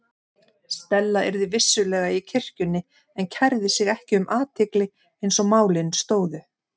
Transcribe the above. Stella yrði vissulega í kirkjunni en kærði sig ekki um athygli eins og málin stóðu.